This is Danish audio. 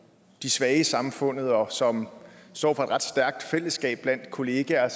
de svage i samfundet og som står for et ret stærkt fællesskab blandt kollegaer